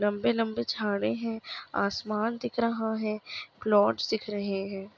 लंबे -लंबे झाड़े है आसमान दिख रहा है क्लोड्स दिख रहे हैं।